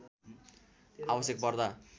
आवश्यक पर्दा